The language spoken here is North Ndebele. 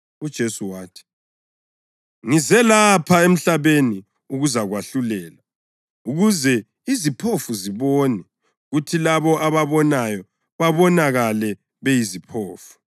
UJesu wathi, “Ngeza lapha emhlabeni ukuzakwahlulela, ukuze iziphofu zibone kuthi labo ababonayo babonakale beyiziphofu.”